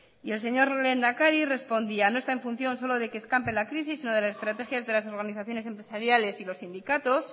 y el señor lehendakari respondía no está en función solo de que escampe la crisis sino de las estrategias de las organizaciones empresariales y los sindicatos